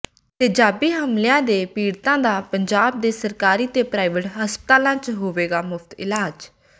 ਤੇਜ਼ਾਬੀ ਹਮਲਿਆਂ ਦੇ ਪੀੜਤਾਂ ਦਾ ਪੰਜਾਬ ਦੇ ਸਰਕਾਰੀ ਤੇ ਪ੍ਰਾਈਵੇਟ ਹਸਪਤਾਲਾਂ ਚ ਹੋਵੇਗਾ ਮੁਫਤ ਇਲਾਜ